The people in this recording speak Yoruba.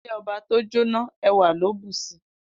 Ile oba to jo na, ewa lo bu si.